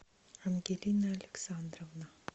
ангелина александровна